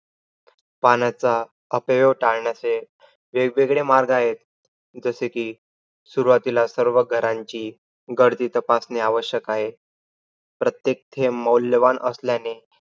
पाण्याचा अपव्यय टाळण्याचे वेगवेगळे मार्ग आहेत. जसे कि, सुरुवातीला सर्व घरांची गर्दी तपासणे आवश्यक आहे. प्रत्येक थेंब मौल्यवान असल्याने